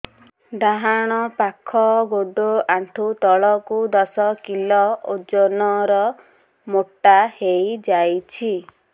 ଡାହାଣ ପାଖ ଗୋଡ଼ ଆଣ୍ଠୁ ତଳକୁ ଦଶ କିଲ ଓଜନ ର ମୋଟା ହେଇଯାଇଛି